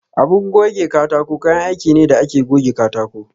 Abu gove katako kayan aiki ne da ake goge katako.